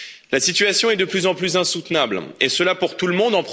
La situation est de plus en plus insoutenable, et cela pour tout le monde.